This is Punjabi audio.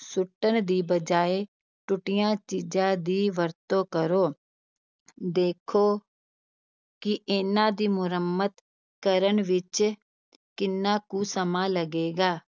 ਸੁੱਟਣ ਦੀ ਬਜਾਏ ਟੁੱਟੀਆਂ ਚੀਜ਼ਾਂ ਦੀ ਵਰਤੋਂ ਕਰੋ, ਦੇਖੋ ਕਿ ਇਹਨਾਂ ਦੀ ਮੁਰੰਮਤ ਕਰਨ ਵਿੱਚ ਕਿੰਨਾ ਕੁ ਸਮਾਂ ਲੱਗੇਗਾ।